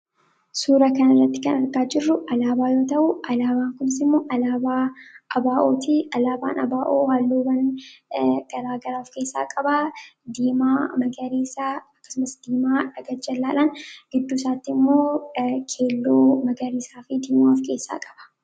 suura kan irratti kan argaa jirru alaabaayoo ta'uu alaabawaan kunisimmoo alaabaa abaa’oti alaabaan abaa'oo haalluwwan garaagaraa of keessaa qabaa, diimaa, magariisaa akkasumas diimaa dha garaga-jallaan gidduu saatti immoo keelloo magariisaa fi diimaaf keessaa qaba